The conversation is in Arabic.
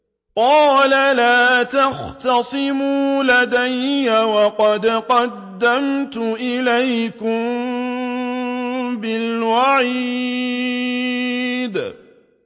قَالَ لَا تَخْتَصِمُوا لَدَيَّ وَقَدْ قَدَّمْتُ إِلَيْكُم بِالْوَعِيدِ